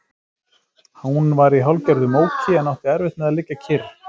Hún var í hálfgerðu móki en átti erfitt með að liggja kyrr.